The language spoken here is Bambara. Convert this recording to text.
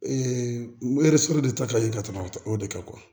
de ta ka ɲi ka tɛmɛ o de kan